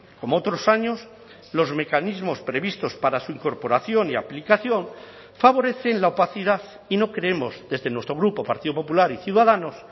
como otros años los mecanismos previstos para su incorporación y aplicación favorecen la opacidad y no creemos desde nuestro grupo partido popular y ciudadanos